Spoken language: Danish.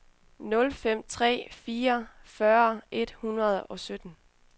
nul fem tre fire fyrre et hundrede og sytten